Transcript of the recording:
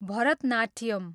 Bharatanatyam